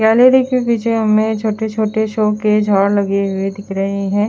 Gallery के पीछे हमें छोटे छोटे शोकेस और लगे हुए दिख रहे है।